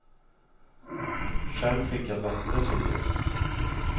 Själv fick jag lotter till jul.